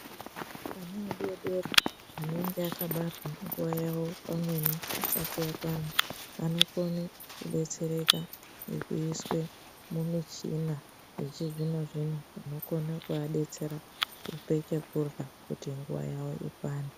Ana adodori anenge akabarwa pamweni nguva yavo isati yakwana vanobetsereka ngekuiswa mumishina yechizvino zvino inokona kuabetsera kupetekura kuti nguva yavo ikwane .